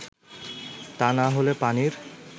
তা না হলে পানির